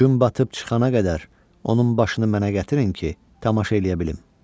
Gün batıb çıxana qədər onun başını mənə gətirin ki, tamaşa eləyə bilim.